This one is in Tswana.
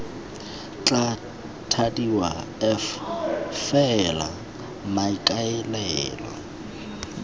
tla thadiwa f fela maikaelelo